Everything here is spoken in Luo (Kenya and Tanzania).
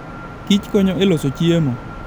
Kich konyo e loso chiemo.